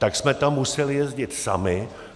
Tak jsme tam museli jezdit sami.